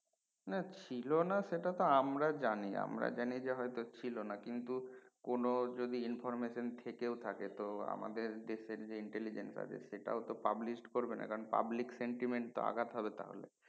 না ছিলো না সেটা তো আমরা জানি আমরা জানি যে হয়তো ছিলো না কিন্তু কোন যদি information থেকেও থাকে তো আমদের দেশের যে intelligent আছে সেটা তো publish করবে না কারন public sentiment আঘাত হবে তা হলে